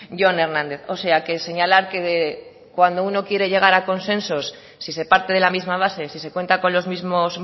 jon hernández o sea que señalar que cuando uno quiere llegar a consensos si se parte de la misma base si se cuenta con los mismos